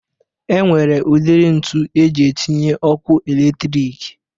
E nwere udiri ntu eji etinye ọkụ eletrik